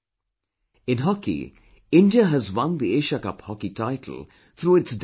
In hockey, India has won the Asia Cup hockey title through its dazzling performance